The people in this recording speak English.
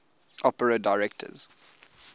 opera directors